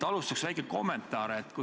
Alustuseks väike kommentaar.